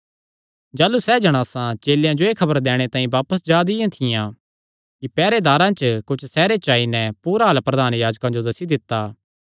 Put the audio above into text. जाह़लू सैह़ जणासां चेलेयां जो एह़ खबर दैणे तांई बापस जा दियां थियां कि पैहरेदारां च कुच्छ सैहरे च आई नैं पूरा हाल प्रधान याजकां नैं दस्सी दित्ता